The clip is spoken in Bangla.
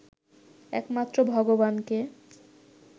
একমাত্র ভগবানকে